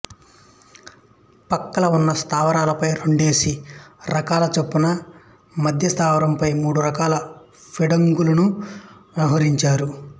పక్కల ఉన్న స్థావరాలపై రెండేసి రకాల చొప్పున మధ్య స్థావరంపై మూడు రకాల ఫీల్డుగన్నులనూ మోహరించారు